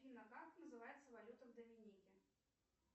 афина как называется валюта в доминике